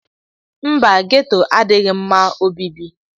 Mba, ghetto adịghị mma obibi.